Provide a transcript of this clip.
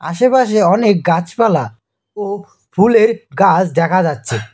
আশেপাশে অনেক গাছপালা ও ফু-ফুলের গাছ দেখা যাচ্ছে।